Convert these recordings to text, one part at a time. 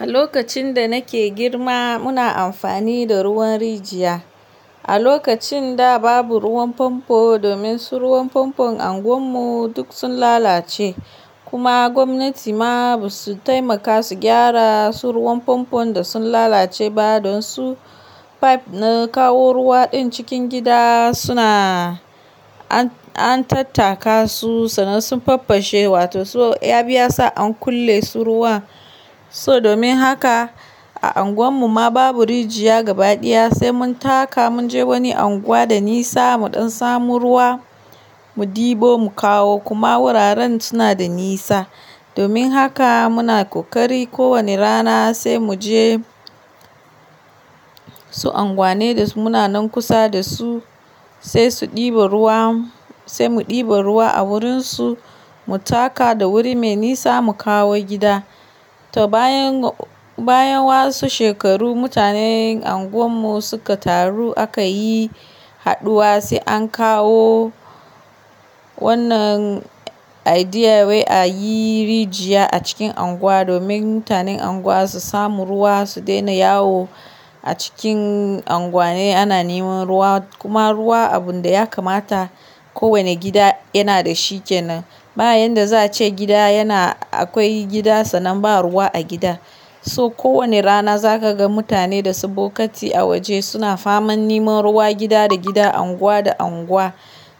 A lokacin da nake girma muna amfani da ruwan rijiya. A lokacin da babu ruwan famfo domin su ruwan famfon anguwan mu duk sun lalace kuma gwamnati ma ba su taimaka su gyara su ruwan famfon da sun lalace ba don su pipe na kawo ruwa ɗin cikin gida suna an tattaka su, sannan sun faffashe wato so ya bi yasa an kulle su ruwan. So domin haka a anguwan mu ma babu rijiya gaba ɗaya sai mun taka mun je wani anguwa da nisa mu ɗan samo ruwa mu ɗebo mu kawo kuma wuraren suna da nisa. Domin haka muna ƙoƙari kowane rana sai mu je su anguwanni da muna nan kusa da su, sai su ɗiba ruwa, sai mu ɗiba ruwa a wurin su mu taka da wuri mai nisa mu kawo gida. To bayan, bayan wasu shekaru mutanen unguwar mu suka taru aka yi haɗuwa sai an kawo wannan idea wai a yi rijiya a cikin anguwa domin mutanen anguwa su samu ruwa su daina yawo a cikin anguwanni ana neman ruwa. Kuma ruwa abun da ya kamata kowane gida yana da shi kenan. Ba yanda za a ce gida yana akwai gida sannan ba ruwa a gidan. So ko wane rana za ka ga mutane da su bokati a waje suna faman neman ruwa gida da gida, unguwa da unguwa.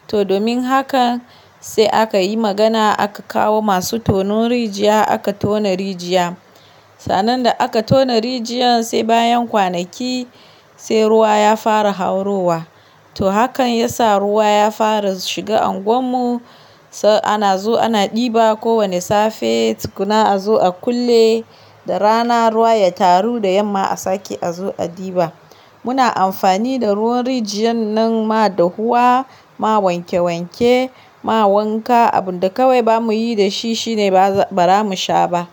To domin haka sai aka yi magana aka kawo masu tonon rijiya aka tona rijiya. Sannan da aka tona rijiyan sai bayan kwanaki sai ruwa ya fara haurowa. To hakan ya sa ruwa ya fara shiga anguwan mu, sai ana zuwa ana ɗiba kowane safe, tukuna a zo a kulle da rana ruwa ya taru da yamma a sake a zo a ɗiba. Muna amfani da ruwan rijiyar nan ma dahuwa, ma wanke wanke, ma wanka. Abun da kawai ba mu yi da shi shine ba, ba ra mu sha ba.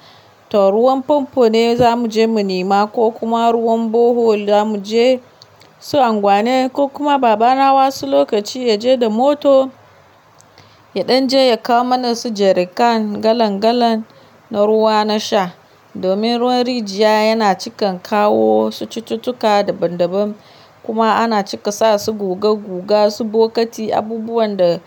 To ruwan famfo ne za mu je mu nema ko kuma ruwan borehole za mu je su anguwannin ko kuma baba na ma wasu lokaci ya je da motor ya ɗan je ya kawo mana su jerrycan galon galon na ruwa na sha. Domin ruwan rijiya yana cikan kawo su cututtuka daban daban kuma ana cika sa su guga guga su bokati abubuwan da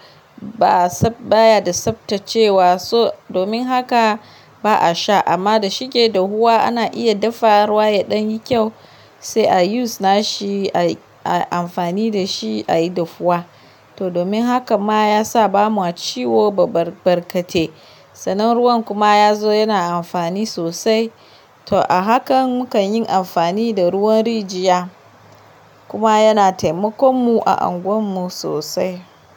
ba tsab. Bayada tsaftacewa so domin haka ba a sha. Amma da shike dahuwa ana iya dafa ruwa ya ɗan yi kyau sai a use na shi, ai, ai amfani da shi a yi dafuwa. To domin haka ma ya sa ba ma ciwo ba barkate. Sannan ruwan kuma ya zo yana amfani sosai. To a hakan mukan yin amfani da ruwan rijiya kuma yana taimakon mu a anguwan mu sosai.